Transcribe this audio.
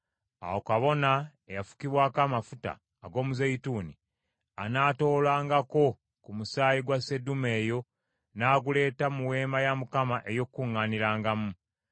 Awo kabona eyafukibwako amafuta ag’omuzeeyituuni anaatoolangako ku musaayi gwa sseddume eyo n’aguleeta mu Weema ey’Okukuŋŋaanirangamu.